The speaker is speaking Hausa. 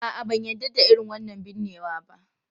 A'a, ban yarda da irin wannan binnewa ba.